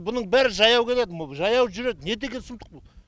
бұның бәрі жаяу келеді жаяу жүреді не деген сұмдық бұл